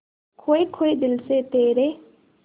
खोए खोए दिल से तेरे